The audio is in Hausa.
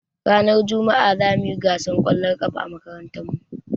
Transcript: Ranar juma'a zamuyi gasar ƙwallon ƙafa a makarantar mu